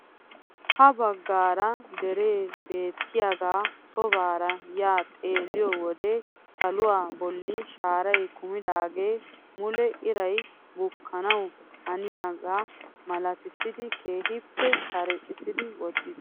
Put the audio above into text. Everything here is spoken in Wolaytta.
Ha baggaara deree beettiyaagaa shoobbaara ya xeelliyoo wode saluwaa bolli shaaray kumidaagee mule iray bukkanawu haniyaagaa malattisidi keehippe karexxisidi wottiis.